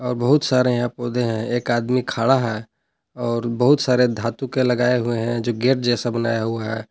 और बहुत सारे यहां पौधे हैं एक आदमी खड़ा है और बहुत सारे धातु के लगाए हुए है जो गेट जैसा बनाया हुआ हैं।